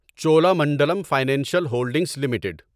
Chola Mandalam financial holdings limited